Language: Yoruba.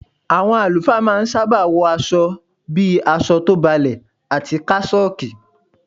Àwọn àlùfáà ma ń sábà wọ àwọn aṣọ bíi aṣọ tó balẹ̀ àti kásọ́ọ̀kì.